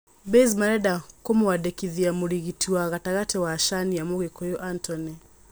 Baze marenda kũmũandĩkithia mũrĩgiti wa gatagati wa Shania, Mũgikũyu Antony.